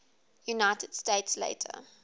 united states later